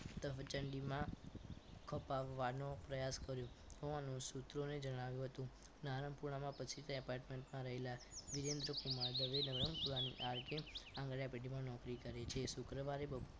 પ્રચંડીમાં ખપાવવાનો પ્રયાસ કર્યું થવાનું સુત્રોએ જણાવ્યું હતું નારાયણપુરામાં પછી તે apartment માં રહેલા વિજેન્દ્રકુમાર દવે નવરંગપરાની RK આંગણીયા પેઢીમાં નોકરી કરે છે શુક્રવારે બપોર